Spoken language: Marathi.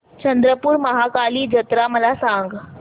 चंद्रपूर महाकाली जत्रा मला सांग